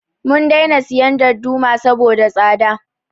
Mun daina siyan darduma saboda tsada